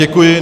Děkuji.